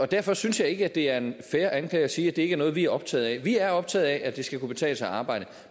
derfor synes jeg ikke det er en fair anklage at sige at det ikke er noget vi er optaget af vi er optaget af at det skal kunne betale sig arbejde